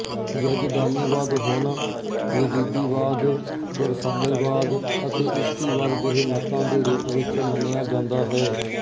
ਯਜ਼ਦਾਨੀਵਾਦ ਹੁਣ ਯਜ਼ੀਦੀਵਾਦ ਯਰਸਾਨੀਵਾਦ ਅਤੇ ਇਸ਼ੀਕੀਵਾਦ ਜਿਹੇ ਮਤਾਂ ਦੇ ਰੂਪ ਵਿੱਚ ਮੰਨਿਆ ਜਾਂਦਾ ਹੈ